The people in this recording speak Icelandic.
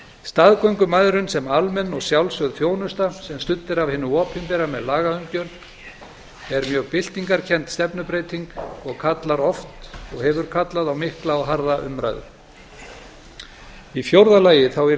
staðgöngumæðrun sem almenn og sjálfsögð þjónusta sem studd er af hinu opinbera með lagaumgjörð er mjög byltingarkennd stefnubreyting og kallar oft og hefur kallað á mikla og harða umræðu í fjórða lagi yrði